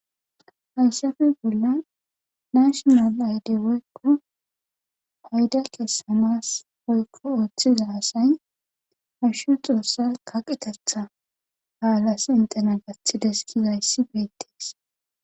Hayssafe bollan nashinaal ayde woykko payda kessanaas woykko oothiza asay hashu xoossa qaqetetha baaliyas enttena gathides gizayssi beettides.